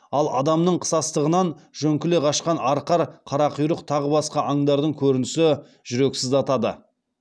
ал адамның қысастығынан жөңкіле қашқан арқар қарақұйрық тағы басқа аңдардың көрінісі жүрек сыздатады